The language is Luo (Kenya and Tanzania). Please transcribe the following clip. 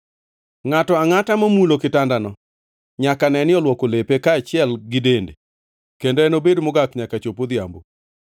Ngʼato angʼata momulo kitandono nyaka neni olwoko lepe, kaachiel gi dende, kendo enobed mogak nyaka chop odhiambo.